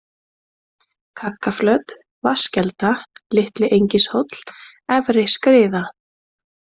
Kaggaflöt, Vatnskelda, Litli-Engishóll, Efri-Skriða